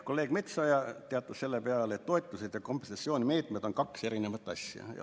Kolleeg Metsoja teatas selle peale, et toetused ja kompensatsioonimeetmed on kaks erinevat asja.